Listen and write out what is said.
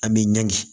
An bɛ ɲɔn kɛ